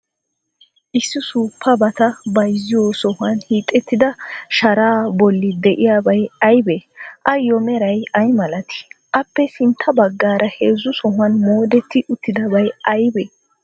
Issi suuppabata bayzziyoo sohuwan hiixettida sharaa bolli de'iyabay aybee? Ayyo meray ay malatii? Appe sintta baggaara heezzu sohuwan moodetti uttidabay aybee?